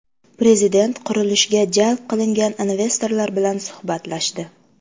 Prezident qurilishga jalb qilingan investorlar bilan suhbatlashdi.